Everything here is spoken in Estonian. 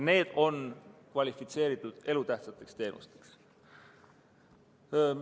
Need on kvalifitseeritud elutähtsateks teenusteks.